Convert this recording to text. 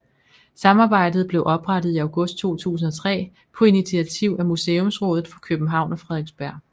Samarbejdet blev oprettet i august 2003 på initiativ af Museumsrådet for København og Frederiksberg